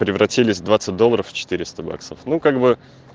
превратились двадцать долларов в четыреста баксов ну как бы